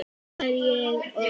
Þá var ég orð